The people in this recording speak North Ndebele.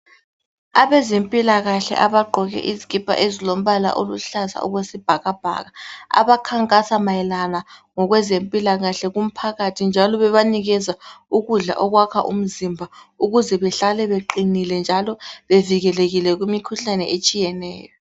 Abezempilakahle abagqoke izikipa ezilombala oluhlaza okwesibhakabhaka abakhankasa mayelana ngokwezempilakahle kumphakathi njalo bebanikeza ukudla okwakha umzimba ukuze behlale beqinile njalo bevikelekile kumikhuhlane etshiyeneyo.